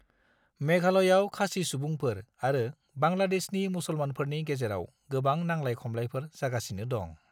मेघालयाव खासी सुबुंफोर आरो बांग्लादेशनि मुसलमानफोरनि गेजेराव गोबां नांलाय-खमलायफोर जागासिनो दं।